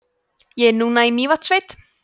ég er núna í mývatnssveit